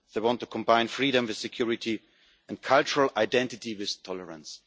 they want to combine freedom with security, and cultural identity with tolerance.